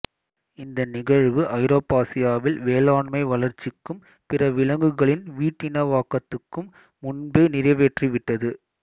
இந்த நிகழ்வு ஐரோப்பாசியாவில் வேளாண்மை வளர்ச்சிக்கும் பிற விலங்குகளின் வீட்டினவாக்கத்துக்கும் முன்பே நிறைவேறிவிட்டது